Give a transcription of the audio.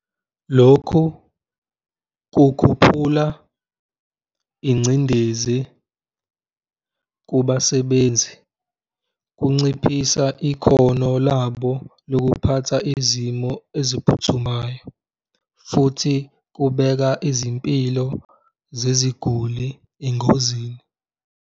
Lokhu kukhuphula ingcindezi kubasebenzi, kunciphisa ikhono labo lokuphatha izimo eziphuthumayo futhi kubeka izimpilo zeziguli engozini.